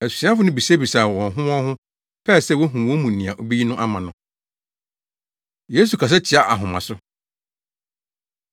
Asuafo no bisabisaa wɔn ho wɔn ho, pɛɛ sɛ wohu wɔn mu nea obeyi no ama no. Yesu Kasa Tia Ahomaso